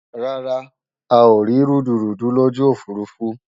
Rárá,a ò rí rúdurùdu lójú òfurufú